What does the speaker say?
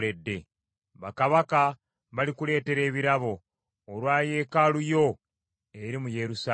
Bakabaka balikuleetera ebirabo olwa Yeekaalu yo eri mu Yerusaalemi.